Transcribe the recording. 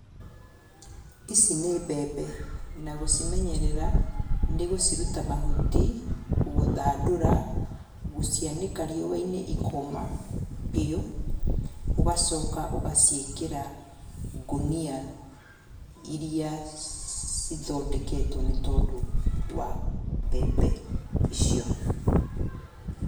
Ici ni mbembe, nagũcimenyerera nĩgũciruta mahuti, gũthandũra ,gũcianĩka riũainĩ ikoma biũ, ũgacoka ũgaciĩkĩra ngunia iria cithondeketwe nĩ tondũ wa mbembe icio.